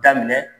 Daminɛ